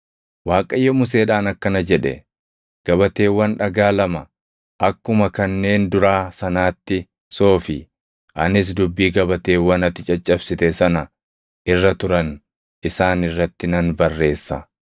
Waaqayyo Museedhaan akkana jedhe; “Gabateewwan dhagaa lama akkuma kanneen duraa sanaatti soofi; anis dubbii gabateewwan ati caccabsite sana irra turan isaan irratti nan barreessa.